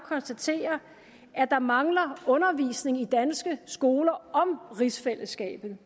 konstatere at der mangler undervisning i danske skoler om rigsfællesskabet